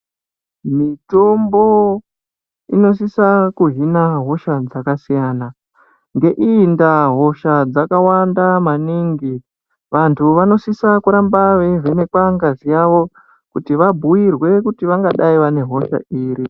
Mitombo inosisa kuhina hosha dzaka siyana nge iyi ndaa hosha dzaka wanda maningi vantu vanosisa kuramba vei vhenekwa ngazi yavo kuti vabhuyirwe kuti vangadai vane hosha iri.